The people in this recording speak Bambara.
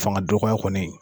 Fanga dɔgɔya kɔni